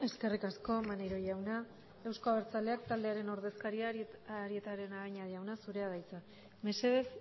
eskerrik asko maneiro jauna euzko abertzaleak taldearen ordezkaria arieta araunabeña jauna zurea da hitza mesedez